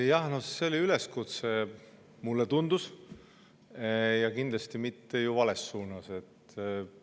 Jah, see oli üleskutse, mulle tundub, ja kindlasti mitte vales suunas.